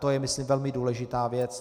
To je myslím velmi důležitá věc.